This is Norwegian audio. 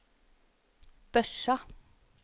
Børsa